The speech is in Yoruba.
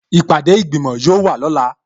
Ìpàdé ìgbìmò yóò wà lọ́la